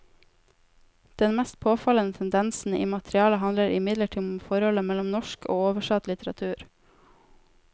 Den mest påfallende tendensen i materialet handler imidlertid om forholdet mellom norsk og oversatt litteratur.